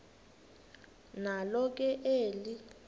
nalo ke eli